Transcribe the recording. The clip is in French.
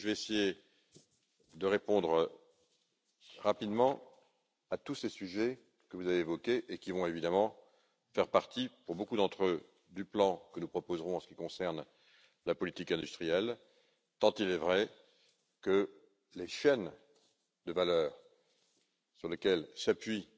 Je vais essayer de répondre rapidement à tous ces sujets que vous avez évoqués et qui vont évidemment faire partie, pour beaucoup d'entre eux, du plan que nous proposerons en ce qui concerne la politique industrielle, tant il est vrai que les chaînes de valeur sur lesquelles s'appuie